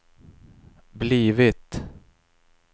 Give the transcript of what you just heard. blivit